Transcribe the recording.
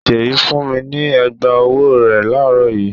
Ṣèyí fún mi ní ẹ̀gbá-ọwọ́ rẹ̀ láàárọ̀ yìí.